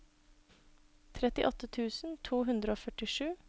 trettiåtte tusen to hundre og førtisju